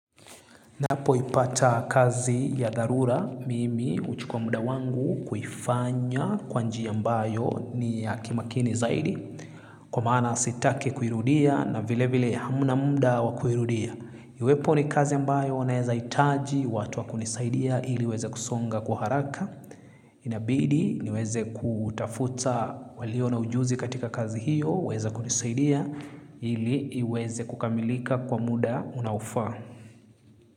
Napo ipata kazi ya dharura, mimi huchukua mda wangu kuifanya kwa njia mbayo ni ya kimakini zaidi. Kwa maana sitake kuirudia na vile vile hamna mda wakuirudia. Iwepo ni kazi ambayo naeza itaji watu wa kunisaidia ili iweze kusonga kwa haraka. Inabidi niweze ku tafuta walio na ujuzi katika kazi hiyo weza kunisaidia ili iweze kukamilika kwa muda unao faa.